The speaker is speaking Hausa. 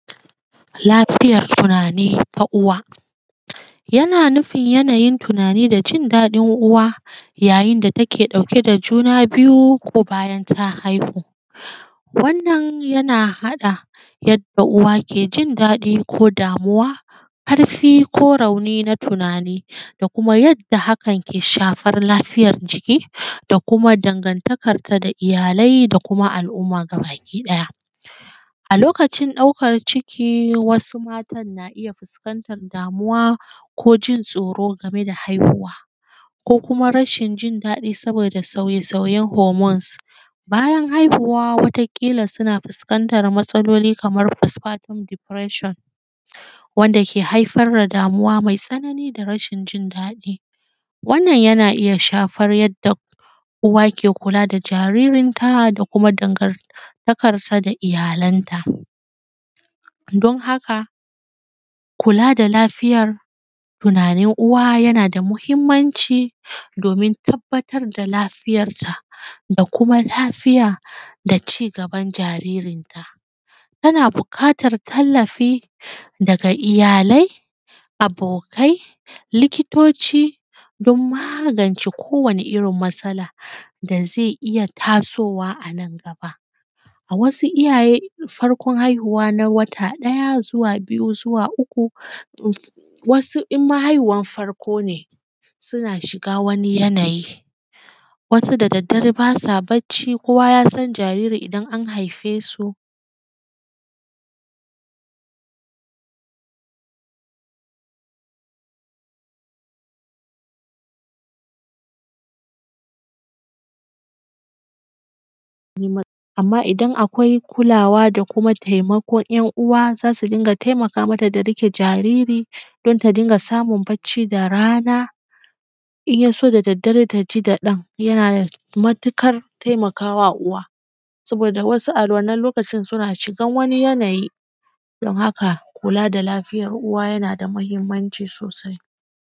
Lafiyar tunani na uwa, yana nufin yanayin tunani da jin daɗin uwa yayin da take ɗauke da juna biyu ko bayan ta haihu, wannan yana haɗa yadda uwa ke jin daɗi ko damuwa, ƙarfi ko rauni na tunani da kuma yadda hakan ke shafan lafiyan jiki da kuma dangantakanta da iyalai da kuma al`umma gabaki ɗaya, a likacin ɗaukar ciki wasu matan na iya fuskantar damuwa ko jin tsoro game da haihuwa ko kuma rashin jin daɗi saboda sauye sauyen “hormones,” bayan haihuwa wata kila suna fuskantan matsaloli kaman “pispart deperation” wanda ke haifar da damuwa mai tsanani da rashin jin daɗi wannan yana iya shafar yadda uwa ke kula da jaririnta da kuma dangantakarta da iyalanta don haka kula da lafitar tunanin uwa yana da muhimmanci domin tabbatar da lafiyarta da kuma lafiya da cigaban jaririnta, ana buƙatar tallafi daga iyalai, abokai, likitoci don magance kowani irin matsala da zai iya tasowa anan gaba, a wasu iyaye farkon haihuwa na wata ɗaya zuwa biyu zuwa uku wasu imma haihuwar farko ne suna shiga wani yanayi, wasu da daddare basa bacci kowa yasan jariri idan an haife su amma idan akwai kulawa da kuma taimakon `yan uwa zasu dinga taimaka mata da riƙe don ta dinga samun bacci da rana in yaso da daddare ta ji da ɗanyana matuƙar taimakawa uwa saboda wasu a wannan lokacin suna shigan wani yanayi don haka kula da lafiyar uwa.